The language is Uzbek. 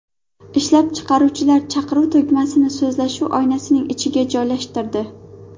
Ishlab chiqaruvchilar chaqiruv tugmasini so‘zlashuv oynasining ichiga joylashtirdi.